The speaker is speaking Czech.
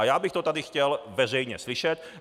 A já bych to tady chtěl veřejně slyšet.